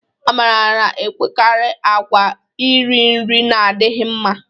Amara na-enwekarị àgwà iri nri na-adịghị mma.